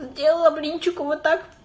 сделала блинчиков вот так